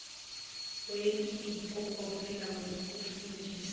weni iphokophele ngokufundisa